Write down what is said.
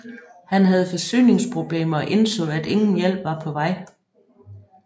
Han havde forsyningsproblemer og indså at ingen hjælp var på vej